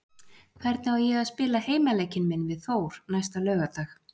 Hvernig á ég að spila heimaleikinn minn við Þór næsta laugardag?